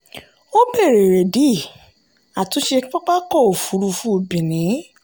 ó béèrè èrèdí àtúnṣe pápákọ̀ òfurufú benin.